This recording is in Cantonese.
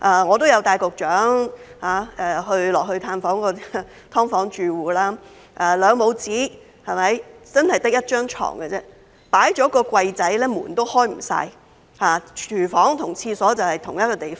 我曾經帶局長探訪"劏房"住戶，兩母子只有一張床，放下一個小櫃後連門都不能盡開，廚房和廁所也在同一個地方。